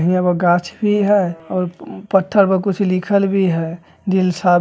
हियाँ पर गाछ भी हेय और पत्थर पर कुछो लिखल भी हेय दिलसाद --